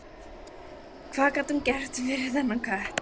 Hvað gat hún gert fyrir þennan kött?